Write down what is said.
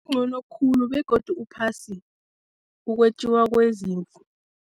Ncono khulu begodu uphasi ukwetjiwa kwezimvu.